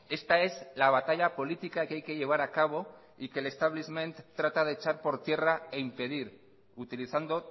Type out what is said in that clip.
esta es la batalla política que hay que llevar a cabo y que el stablishment trata de echar por tierra e impedir utilizando